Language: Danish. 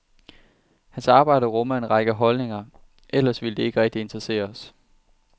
Hans arbejde rummer en række holdninger, ellers ville det ikke rigtig interessere os.